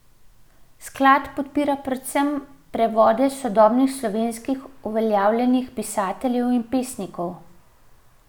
Sklad podpira predvsem prevode sodobnih slovenskih uveljavljenih pisateljev in pesnikov.